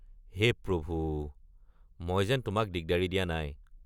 হে প্ৰভু! মই যেন তোমাক দিগদাৰি দিয়া নাই।